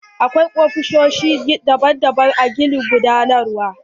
Akwai ofisoshi daban daban a gini na gudanarwa.